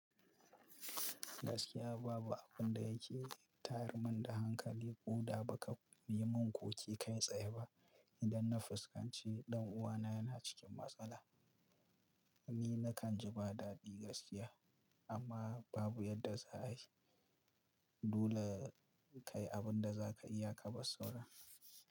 Gaskiya babu abun da yake tayar mun da hankali ko da ba ka yi mun ko ke kai tsaye ba. Idan na fuskanci ɗan uwana yana cikin matsala, ni nakan ji ba dadi gaskiya amma babu yadda za a yi. Dole kayi abun da za ka iya ka bar saura.